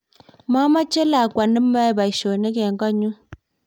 mameche lakwa ne mayoe boisionik eng koot nyu